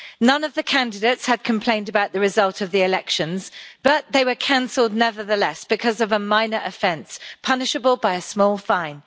None of the candidates had complained about the results of the elections but they were cancelled nevertheless, because of a minor offence punishable by a small fine.